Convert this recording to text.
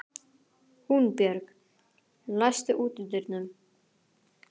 Húnbjörg, læstu útidyrunum.